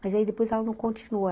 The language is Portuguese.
Mas aí, depois, ela não continuou.